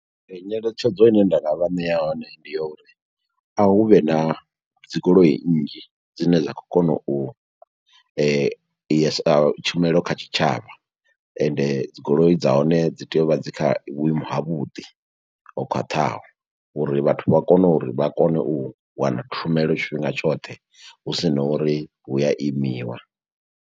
Nyeletshedzo ine nda nga vha ṋea yone, ndi ya uri a hu vhe na dzi goloi nnzhi, dzine dza khou kona u tshumelo kha tshitshavha, ende dzi goloi dza hone dzi tea u vha dzi kha vhuimo ha vhuḓi, ho khwaṱhaho. Uri vhathu vha kone uri vha kone u wana tshumelo tshifhinga tshoṱhe, hu sina uri hu a imiwa.